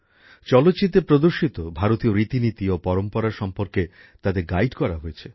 চলচ্চিত্রে প্রদর্শিত ভারতীয় রীতিনীতি ও পরম্পরা সম্বন্ধে তাদের নানা পরামর্শ দেওয়া হয়েছে